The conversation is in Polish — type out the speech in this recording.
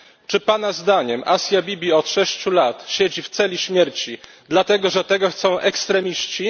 Czy pana zdaniem Asia Bibi od sześciu lat siedzi w celi śmierci, dlatego że tego chcą ekstremiści?